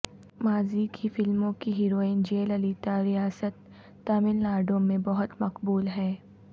ماضی کی فلموں کی ہیروئن جے للیتا ریاست تمل ناڈو میں بہت مقبول ہیں